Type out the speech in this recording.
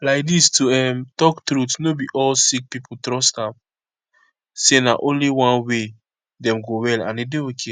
laidis to um talk truth no be all sick pipo trust am say na only one way dem go well and and e dey ok